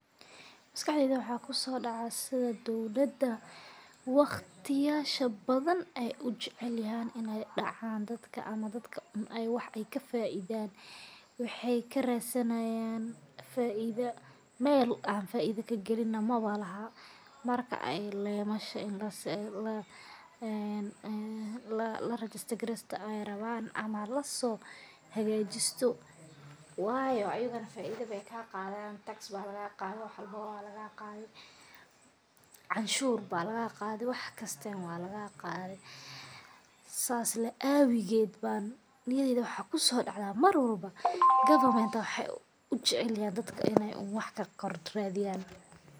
Maskaxdeyda waxa kusodacaya sida dowlada waqti badan ey ujecelyihin in ey dacan ama dadka wax ey kafaidan. Wexey karadinayan faido meel ay kagalina malahan marka lemasha ini lasohagajisto ayey rawo wayo ayaga faido ayey kaqadan tax aya lagaqade iyo waxwalbo sidas laawidiged aya niyadeyda waxa kusodacdsa mar walbo government wexey jecelyhin in ey dadka faido karadiyan.